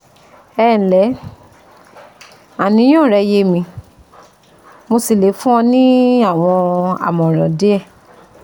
Ẹ ǹlẹ́, àníyàn rẹ yé mi mo sì lè fún ọ ní àwọn àmọ̀ràn díẹ̀